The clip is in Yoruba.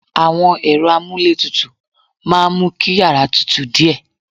Àwọn ẹ̀rọ amuletutu máa ń mú kí yàrá tútù díẹ̀